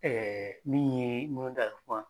Ɛɛ min ye n'o da kuma